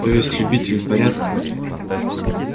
то есть любитель порядка